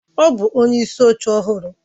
Ọ bụ onyeisi oche ọhụrụ?